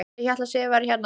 Ég hélt að Sif væri hérna.